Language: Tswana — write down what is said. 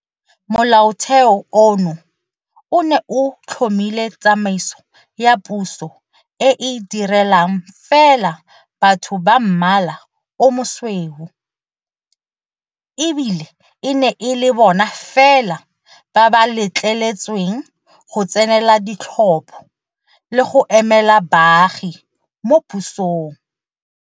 Molaotheo ono o ne o tlhomile tsamaiso ya puso e e direlang fela batho ba mmala o mosweu, e bile e ne e le bona fela ba ba letleletsweng go tsenela ditlhopho le go emela baagi mo pusong.